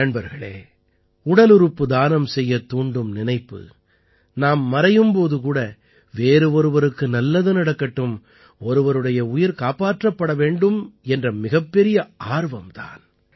நண்பர்களே உடலுறுப்பு தானம் செய்யத் தூண்டும் நினைப்பு நாம் மறையும் போது கூட வேறு ஒருவருக்கு நல்லது நடக்கட்டும் ஒருவருடைய உயிர் காப்பாற்றப்பட வேண்டும் என்ற மிகப்பெரிய ஆர்வம் தான்